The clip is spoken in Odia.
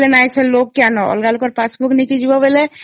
ଅଲଗା ଲୋକ ର Passbook ନେଇ ଗଲେ